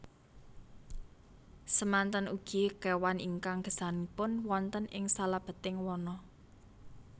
Semanten ugi kewan ingkang gesangipun wonten ing salebeting wana